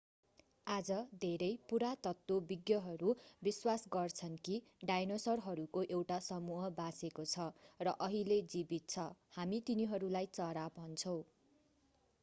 आज धेरै पुरातत्वविज्ञहरू विश्वास गर्छन् कि डायनासोरहरूको एउटा समूह बाँचेको छ र अहिले जीवित छ हामी तिनीहरूलाई चरा भन्छौँ